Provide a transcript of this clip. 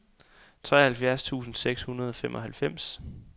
tooghalvfjerds tusind seks hundrede og femoghalvfems